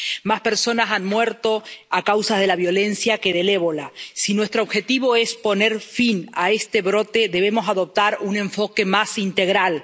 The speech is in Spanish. más personas han muerto a causa de la violencia que del ébola. Si nuestro objetivo es poner fin a este brote, debemos adoptar un enfoque más integral.